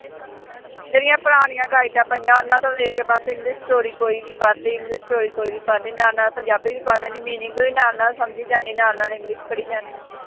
ਜਿਹੜੀਆਂ ਪੁਰਾਣੀਆਂ ਗਾਈਡਾਂ ਪਈਆਂ ਉਹਨਾ ਤੋਂ ਦੇਖ ਕੇ ਬਸ english story ਕੋਈ ਵੀ ਪੜ੍ਹ ਲਈ english story ਕੋਈ ਵੀ ਪੜ੍ਹ ਲਈ, ਨਾਲ ਨਾਲ ਪੰਜਾਬੀ ਵੀ ਪੜ੍ਹ ਲੈਂਦੀ meaning ਵੀ ਨਾਲ ਨਾਲ ਸਮਝੀ ਜਾਂਦੀ, ਨਾਲ ਨਾਲ english ਪੜ੍ਹੀ ਜਾਂਦੀ।